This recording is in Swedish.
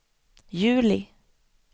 juli